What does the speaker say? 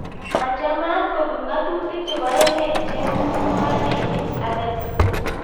Machamat kobut ng'atutik chebo emet chemung'oroin age tugul